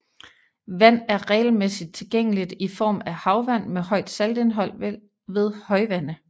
Vand er regelmæssigt tilgængeligt i form af havvand med højt saltindhold ved højvande